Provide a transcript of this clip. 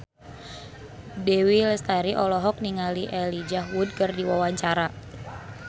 Dewi Lestari olohok ningali Elijah Wood keur diwawancara